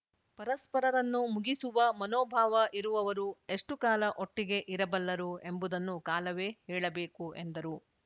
ಪರಸ್ಪರರನ್ನು ಮುಗಿಸುವ ಮನೋಭಾವ ಇರುವವರು ಎಷ್ಟುಕಾಲ ಒಟ್ಟಿಗೆ ಇರಬಲ್ಲರು ಎಂಬುದನ್ನು ಕಾಲವೇ ಹೇಳಬೇಕು ಎಂದರು